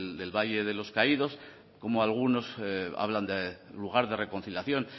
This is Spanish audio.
del valle de los caídos como algunos hablan de lugar de reconciliación